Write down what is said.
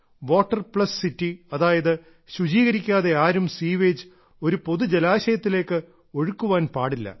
water plus city അതായത് ശുചീകരിക്കാതെ ആരും സീവേജ് ഒരു പൊതു ജലാശയത്തിലേക്ക് ഒഴുക്കാൻ പാടില്ല